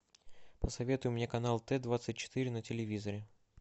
посоветуй мне канал т двадцать четыре на телевизоре